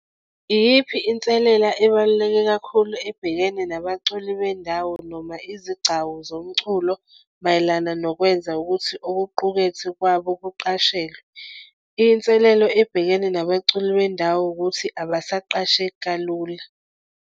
Iyiphi inselela ebaluleke kakhulu ebhekene nabaculi bendawo noma izigcawu zomculo mayelana nokwenza ukuthi okuqukethwe kwabo kuqashelwe? Inselelo ebhekene nabaculi bendawo ukuthi abasaqasheki kalula.